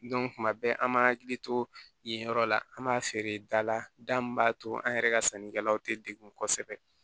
tuma bɛɛ an b'an hakili to yen yɔrɔ la an b'a feere da la da min b'a to an yɛrɛ ka sannikɛlaw tɛ degun kosɛbɛ